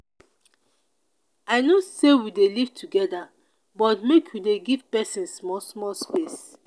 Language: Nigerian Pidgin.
i know sey we dey live togeda but make you dey give pesin small small space.